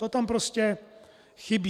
To tam prostě chybí.